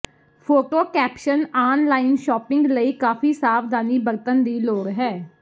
photo caption online shopping ਲਈ ਕਾਫੀ ਸਾਵਧਾਨੀ ਬਰਤਨ ਦੀ ਲੋੜ ਹੈ